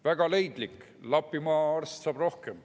Väga leidlik, Lapimaa arst saab rohkem.